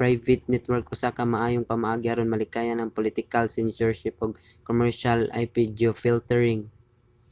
private network usa ka maayong pamaagi aron malikayan ang political censorship ug commercial ip-geofiltering